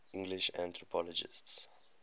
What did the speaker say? english anthropologists